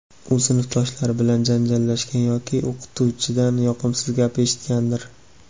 u sinfdoshlari bilan janjallashgan yoki o‘qituvchidan yoqimsiz gap eshitgandir.